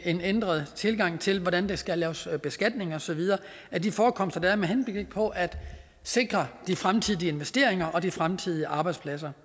en ændret tilgang til hvordan der skal laves beskatning og så videre af de forekomster der er med henblik på at sikre de fremtidige investeringer og de fremtidige arbejdspladser